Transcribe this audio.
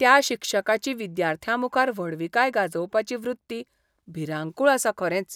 त्या शिक्षकाची विद्यार्थ्यांमुखार व्हडविकाय गाजोवपाची वृत्ती भिरांकूळ आसा खरेंच.